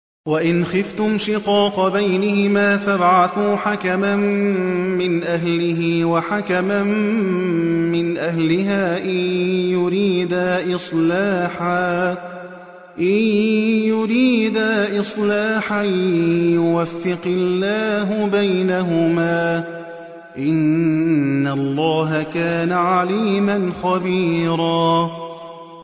وَإِنْ خِفْتُمْ شِقَاقَ بَيْنِهِمَا فَابْعَثُوا حَكَمًا مِّنْ أَهْلِهِ وَحَكَمًا مِّنْ أَهْلِهَا إِن يُرِيدَا إِصْلَاحًا يُوَفِّقِ اللَّهُ بَيْنَهُمَا ۗ إِنَّ اللَّهَ كَانَ عَلِيمًا خَبِيرًا